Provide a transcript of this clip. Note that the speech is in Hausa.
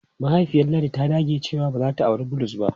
Mahaifiyar Ladi ta dage cewa ba za ta auri Bulus ba.